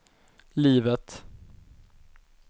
livet